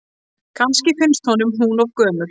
Kannski finnst honum hún of gömul.